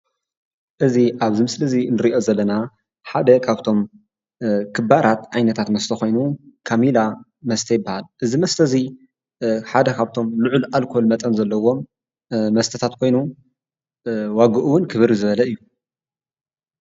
እዚ አብ ውሽጢ እዚ ንሪኦ ዘለና ሓደ ካብቶም ክባራት ዓይነታት መስተ ኮይኑ ፤ ካሚላ መስተ ይበሃል፡፡ እዚ መስተ እዚ ሓደ ካብቶም ልዑል አልኮል መጠን ዘለዎም መስተታት ኮይኑ ዋግኡ እውን ክብር ዝበለ እዩ፡፡